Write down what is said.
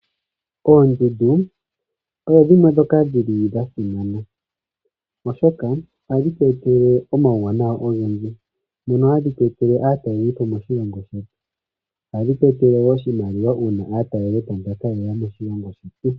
Oondundu odho dhimwe ndhoka dhi li dha simana, oshoka ohadhi tu etele omauwanawa ogendji mono hadhi tu etele aatalelipo moshilongo shetu. Ohadhi tu etele wo oshimaliwa uuna aatalelipo mbaka ye ya moshilongo shetu.